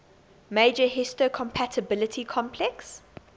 major histocompatibility complex